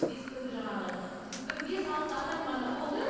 бесік тойда жаңағы бір бес алты адам ғана болды